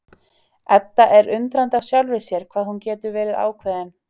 Edda er undrandi á sjálfri sér hvað hún getur verið ákveðin.